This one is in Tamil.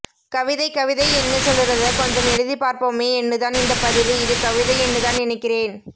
கவிதை கவிதை என்னு சொல்லுறத கொஞ்சம் எழுதிப்பார்போமே என்னுதான் இந்தப்பதிவு இது கவிதை என்னுதான் நினைக்கிறேன்